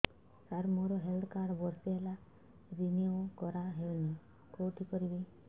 ସାର ମୋର health card ବର୍ଷେ ହେଲା ରିନିଓ କରା ହଉନି କଉଠି କରିବି